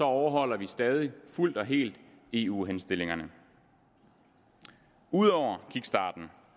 overholder vi stadig fuldt og helt eu henstillingerne ud over kickstarten